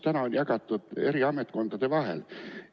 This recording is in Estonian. Praegu on see jagatud eri ametkondade vahel.